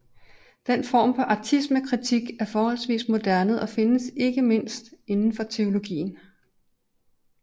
Den form for ateismekritik er forholdsvis moderne og findes ikke mindst inden for teologien